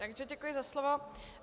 Takže děkuji za slovo.